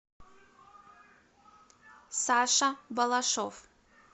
саша балашов